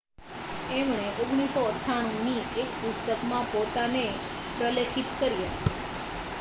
એમણે 1998 ની એક પુસ્તકમાં પોતાને પ્રલેખિત કર્યા